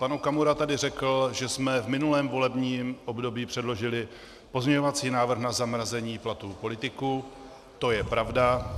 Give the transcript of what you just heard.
Pan Okamura tady řekl, že jsme v minulém volebním období předložili pozměňovací návrh na zamrazení platů politiků, to je pravda.